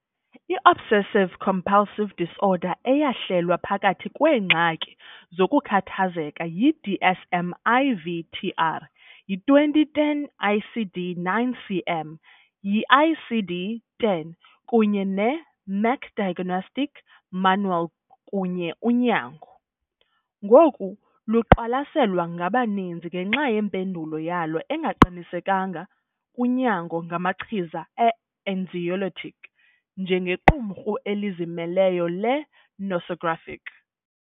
I-Obsessive-compulsive disorder - eyahlelwa phakathi kweengxaki zokukhathazeka yi-DSM-IV-TR, yi-2010 ICD-9-CM, yi-ICD-10 kunye ne- "Merck Diagnostic Manual kunye unyango" - ngoku luqwalaselwa ngabaninzi, ngenxa yempendulo yalo engaqinisekanga kunyango ngamachiza e-anxiolytic, njengequmrhu elizimeleyo le-nosographic.